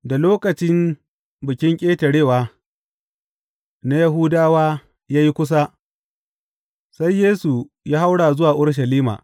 Da lokacin Bikin Ƙetarewa na Yahudawa ya yi kusa, sai Yesu ya haura zuwa Urushalima.